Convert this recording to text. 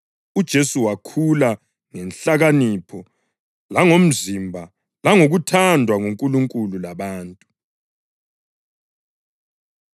UJesu wakhula ngenhlakanipho, langomzimba langokuthandwa nguNkulunkulu labantu.